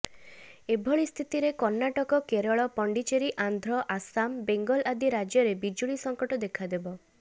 ଏଭଳି ସ୍ଥିତିରେ କର୍ଣ୍ଣାଟକ କେରଳ ପଣ୍ଡିଚେରୀ ଆନ୍ଧ୍ର ଆସାମ ବେଙ୍ଗଲ ଆଦି ରାଜ୍ୟରେ ବିଜୁଳି ସଂକଟ ଦେଖାଦେବ